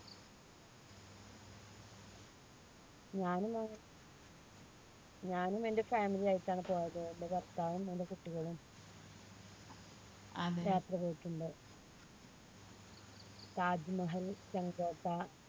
ഞാനും ഞാനും എൻറെ family ആയിട്ടാണ് പോയത് എൻറെ ഭർത്താവും എൻറെ കുട്ടികളും ട്ടുണ്ട് താജ്മഹൽ